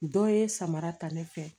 Dɔ ye samara ta ne fɛ